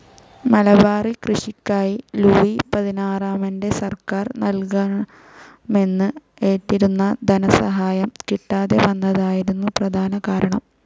മലബാറി കൃഷിക്കായി ലൂയി പതിനാറാമൻ്റെ സർക്കാർ നൽകാമെന്ന് ഏറ്റിരുന്ന ധനസഹായം കിട്ടാതെ വന്നതായിരുന്നു പ്രധാന കാരണം.